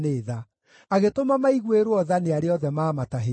Agĩtũma maiguĩrwo tha nĩ arĩa othe maamatahĩte.